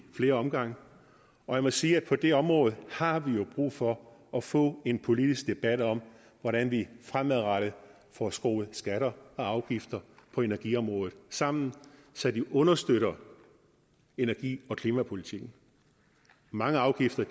flere omgange og jeg må sige at på det område har vi jo brug for at få en politisk debat om hvordan vi fremadrettet får skruet skatter og afgifter på energiområdet sammen så de understøtter energi og klimapolitikken mange afgifter